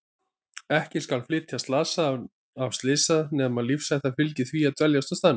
Ekki skal flytja slasaða af slysstað nema lífshætta fylgi því að dveljast á staðnum.